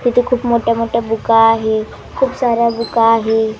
तिथे खूप मोठ्या मोठ्या बुका आहे खूप साऱ्या बुका आहे.